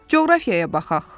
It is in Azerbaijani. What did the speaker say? Coğrafiyaya baxaq.